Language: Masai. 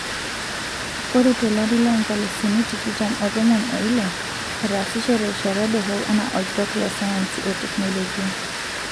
Ore tolari lo nkalisuni tikitam o tomon oile, etasishe terishata dorop ana orkitok le sayansi o teknolojia.